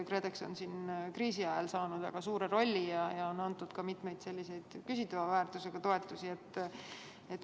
KredEx on kriisi ajal saanud väga suure rolli ja andnud ka mitmeid küsitava väärtusega toetusi.